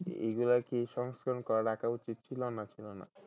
এগুলা কি সংস্করন করে রাখা উচিত ছিল না ছিল না?